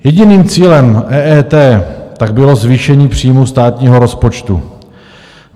Jediným cílem EET tak bylo zvýšení příjmů státního rozpočtu.